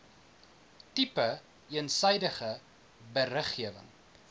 tipe eensydige beriggewing